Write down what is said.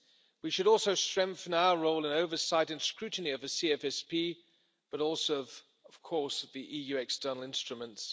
We should also strengthen our role and oversight and scrutiny of the CFSP but also, of course, of the EU external instruments.